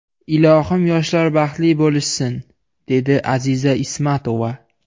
Ilohim yoshlar baxtli bo‘lishsin”, dedi Aziza Ismatova.